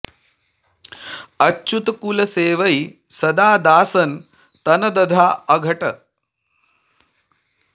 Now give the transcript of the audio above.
अच्युत कुल सेवैं सदा दासन तन दसधा अघट